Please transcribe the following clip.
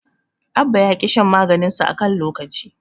Abba ya ƙi shan maganinsa a kan lokaci.